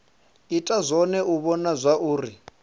ita zwone u vhona zwauri